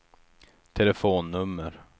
telefonnummer